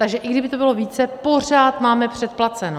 Takže i kdyby to bylo více, pořád máme předplaceno.